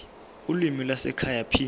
ulimi lwasekhaya p